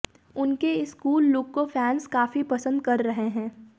उनके इस cool look को फैंस काफी पसंद कर रहे हैं